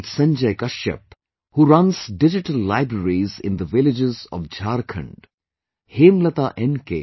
Be it Sanjay Kashyap, who runs Digital Libraries in the villages of Jharkhand, Hemlata N